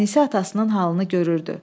Ənisə atasının halını görürdü.